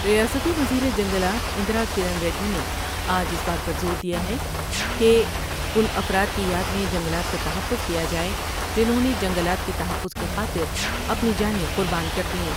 ریاستی وزیر جنگلات اندرا کرن ریڈی نے آج اس بات پر زور دیا ہے کہ ان افراد کی یاد میں جنگلات کا تحفظ کیا جاۓ جنھوں نے جنگلات کے تحفظ کی خاطر اپنی جانیں قربان کر دیں ۔